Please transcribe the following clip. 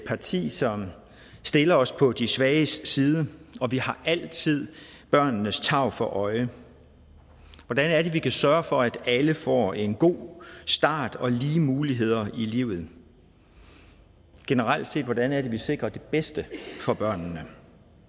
parti som stiller os på de svages side og vi har altid børnenes tarv for øje hvordan er det vi kan sørge for at alle får en god start og lige muligheder i livet generelt set hvordan er det vi sikrer det bedste for børnene